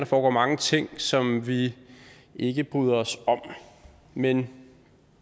foregår mange ting som vi ikke bryder os om men